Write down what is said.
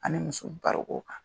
Ani muso baroko kan.